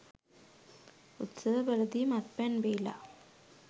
උත්සවවලදී මත්පැන් බීලා